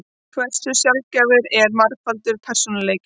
Hversu sjaldgæfur er margfaldur persónuleiki?